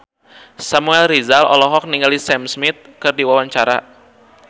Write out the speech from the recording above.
Samuel Rizal olohok ningali Sam Smith keur diwawancara